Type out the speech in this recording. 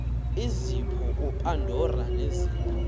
izipho upandora nezipho